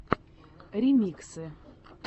ремиксы